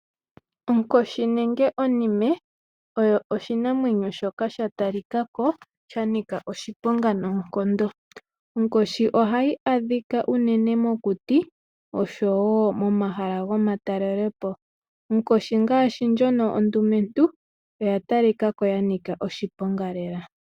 Onkoshi nenge onime oyo oshinamwenyo shoka sha talika ko sha nika oshiponga noonkondo. Onkoshi ohayi adhika unene mokuti, nosho wo momahala gomatalelopo. Onkoshi ngaashi ndjono ondumentu oya talika ko ys nika oshiponga lela.